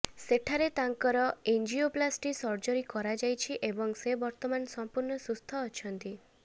ସେଠାରେ ତାଙ୍କର angioplasty surgery କରାଯାଇଛି ଏବଂ ସେ ବର୍ତ୍ତମାନ ସମ୍ପୂର୍ଣ୍ଣ ସୁସ୍ଥ ଅଛନ୍ତି